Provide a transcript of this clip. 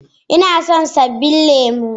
Ina son sabbin lemu